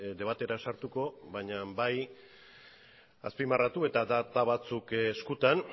debatera sartuko baina bai azpimarratu eta data batzuk eskutan